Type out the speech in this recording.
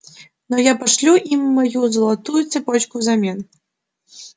но я пошлю им мою золотую цепочку взамен